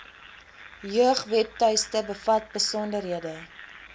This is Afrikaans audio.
jeugwebtuiste bevat besonderhede